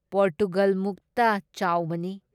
ꯄꯣꯔꯇꯨꯒꯥꯜꯃꯨꯛꯇ ꯆꯥꯎꯕꯅꯤ ꯫